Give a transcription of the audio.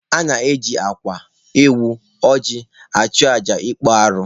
A na-eji akwa, ewu, ọjị achụ aja ịkpụ arụ.